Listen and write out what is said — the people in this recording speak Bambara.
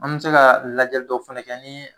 An mi se ka lajɛli dɔ fɛnɛ kɛ nin